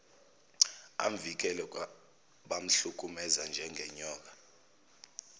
amvikele kwabamhlukumeza njengonyoka